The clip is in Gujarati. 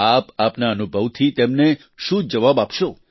આપ આપના અનુભવથી તેમને શું જવાબ આપશો